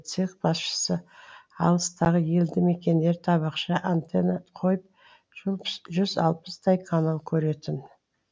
цех басшысы алыстағы елді мекендер табақша антенна қойып жүз алпыстай канал көретін